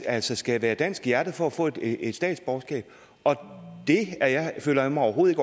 altså skal være dansk i hjertet for at få et et statsborgerskab og det føler jeg mig overhovedet